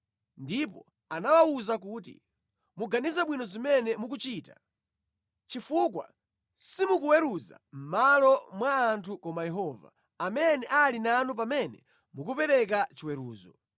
Ndipo anawawuza kuti, “Muganize bwino zimene mukuchita, chifukwa simukuweruza mʼmalo mwa munthu koma Yehova, amene ali nanu pamene mukupereka chiweruzo.